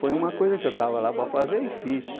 Foi uma coisa que eu estava lá para fazer e fiz.